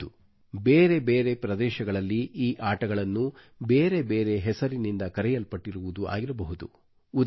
ಹೌದು ಬೇರೆ ಬೇರೆ ಪ್ರದೇಶಗಳಲ್ಲಿ ಈ ಆಟಗಳನ್ನು ಬೇರೆ ಬೇರೆ ಹೆಸರಿನಿಂದ ಕರೆಯಲ್ಪಟ್ಟಿರುವುದು ಆಗಿರಬಹುದು